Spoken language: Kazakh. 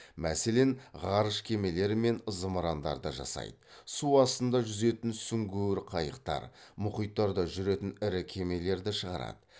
мәселен ғарыш кемелері мен зымырандарды жасайды су астында жүзетін сүңгуір қайықтар мұхиттарда жүретін ірі кемелерді шығарады